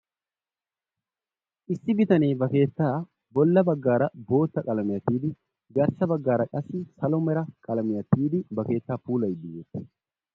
Issi bitanee ba keettaa bolla baggaara bootta qalamiya tiyidi garssa baggaara qassi salo mera qalamiya tiyidi ba keettaa puulayiiddi dees.